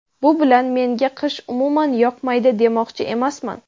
Bu bilan menga qish umuman yoqmaydi demoqchi emasman.